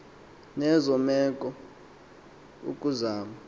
nezo meko ukuzama